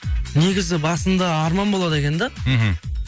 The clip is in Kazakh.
негізі басында арман болады екен да мхм